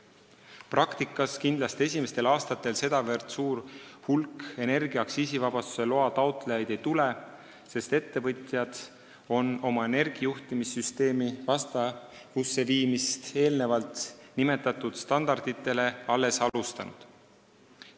Praktikas kindlasti esimestel aastatel sedavõrd suurt hulka energia aktsiisivabastuse loa taotlejaid ei tule, sest ettevõtjad on oma energiajuhtimissüsteemi eelnevalt nimetatud standarditega vastavusse viimist alles alustanud.